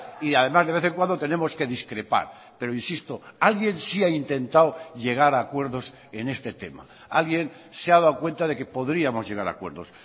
y además de vez en cuando tenemos que discrepar pero insisto alguien sí ha intentado llegar a acuerdos en este tema alguien se ha dado cuenta de que podríamos llegar a acuerdos